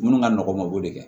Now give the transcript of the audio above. Minnu ka nɔgɔ mabɔ de